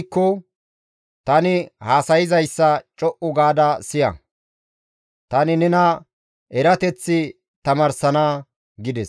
Akkay giikko! Tani haasayzayssa co7u gaada siya; tani nena erateth tamaarsana» gides.